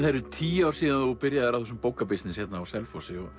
eru tíu ár síðan þú byrjaðir á þessum bókabisness hérna á Selfossi og